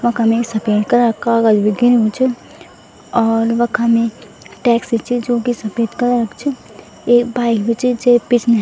वखम एक सपेद कलर कु कागज़ भी गिर्युं च और वखम एक टैक्सी च जुकी सपेद कलरे क च एक बाइक भी च जेक पिछने --